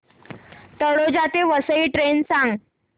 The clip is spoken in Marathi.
तळोजा ते वसई ट्रेन सांग